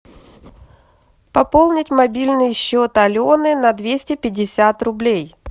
пополнить мобильный счет алены на двести пятьдесят рублей